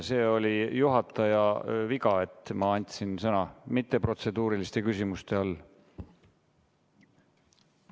See oli minu kui juhataja viga, et ma andsin sõna mitteprotseduuriliste küsimuste all.